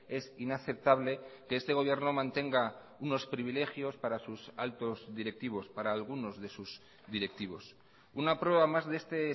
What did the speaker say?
es inaceptable que este gobierno mantenga unos privilegios para sus altos directivos para algunos de sus directivos una prueba más de este